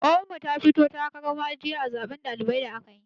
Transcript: Ƙawar mu ta fito takaran ma'ajiya a zaben ɗalibai da aka yi.